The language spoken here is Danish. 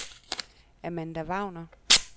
Amanda Wagner